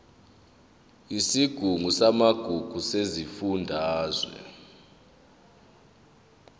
yesigungu samagugu sesifundazwe